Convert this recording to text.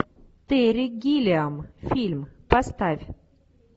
терри гиллиам фильм поставь